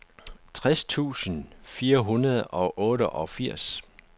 tres tusind fire hundrede og otteogfirs